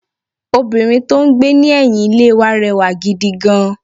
Obìnrin tó n gbé ní ẹ̀yìn Ilé wa rẹwà gidi gan